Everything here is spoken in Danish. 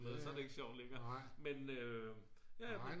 så er det ikke sjovt længere men